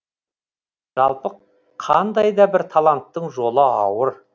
жалпы қандайда бір таланттың жолы ауыр